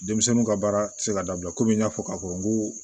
Denmisɛnninw ka baara tɛ se ka dabila komi n y'a fɔ k'a fɔ n ko